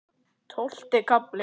Tólfti kafli